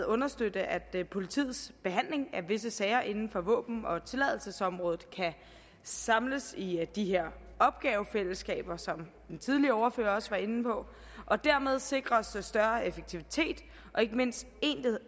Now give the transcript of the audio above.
understøtte at politiets behandling af visse sager inden for våben og tilladelsesområdet kan samles i de her opgavefællesskaber som den tidligere ordfører også var inde på dermed sikres større effektivitet og ikke mindst